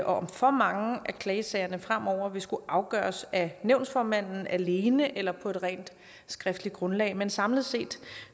om for mange af klagesagerne fremover vil skulle afgøres af nævnsformanden alene eller på et rent skriftligt grundlag men samlet set